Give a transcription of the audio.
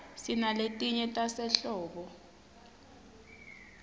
sinaletinye tasehlobo